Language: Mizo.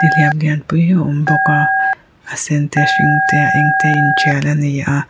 nihliap lianpui a awm bawk a a sen te a hring te a eng te a intial a ni a.